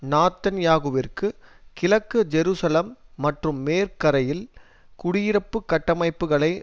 நாத்தன்யாகுவிற்கு கிழக்கு ஜெருசலம் மற்றும் மேற்கரையில் குடியிருப்புக் கட்டமைப்புக்களை